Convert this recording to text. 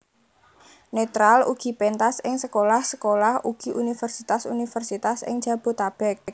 Netral ugi pentas ing sekolah sekolah ugi universitas universitas ing Jabotabek